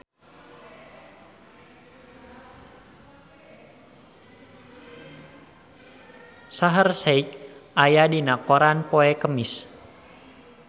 Shaheer Sheikh aya dina koran poe Kemis